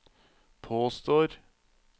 påstår